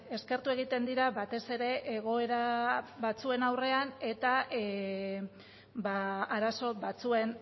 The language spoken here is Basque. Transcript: eskertu egiten dira batez ere egoera batzuen aurrean eta arazo batzuen